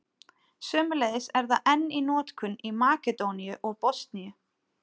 Sömuleiðis er það enn í notkun í Makedóníu og Bosníu.